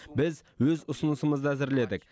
біз өз ұсынысымызды әзірледік